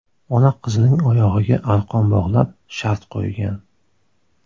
Ona qizining oyog‘iga arqon bog‘lab, shart qo‘ygan.